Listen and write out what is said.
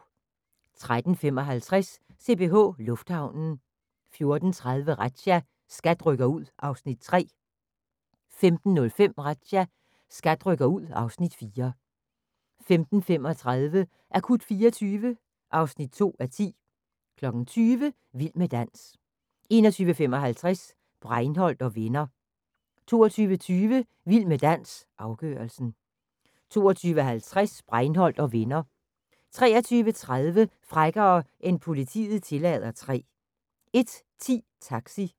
13:55: CPH Lufthavnen 14:30: Razzia – SKAT rykker ud (Afs. 3) 15:05: Razzia – SKAT rykker ud (Afs. 4) 15:35: Akut 24 (2:10) 20:00: Vild med dans 21:55: Breinholt & Venner 22:20: Vild med dans – afgørelsen 22:50: Breinholt & Venner 23:30: Frækkere end politiet tillader 3 01:10: Taxi